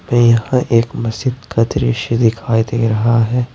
यहां एक मस्जिद का दृश्य दिखाई दे रहा है।